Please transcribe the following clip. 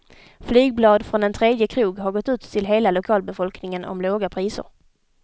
Flygblad från en tredje krog har gått ut till hela lokalbefolkningen om låga priser.